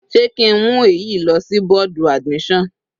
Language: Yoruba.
Sé ki ń mú èyí lọ sí bọ́ọ̀dù admission?